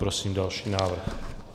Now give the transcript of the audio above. Prosím další návrh.